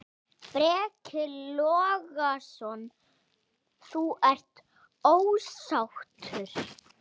Breki Logason: Þú ert ósáttur?